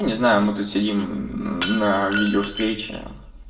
не знаю мы тут сидим на видео встрече